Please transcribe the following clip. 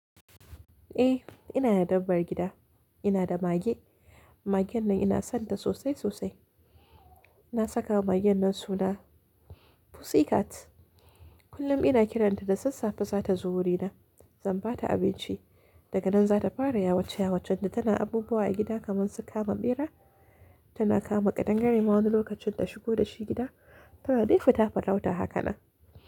Eh, ina da dabbar gida. Ina da mage. Magen nan ina son ta sosai sosai. Na saka wa magen nan suna Pussycat. Kullum ina kiran ta da sassafe za ta zo wurina, zan ba ta abinci. Daga nan za ta fara yawace-yawace tana abubuwa a gida kaman su kama ɓera. Tana kama ƙadangare ma wani lokacin ta shigo da shi gida. Tana dai futa farauta haka na.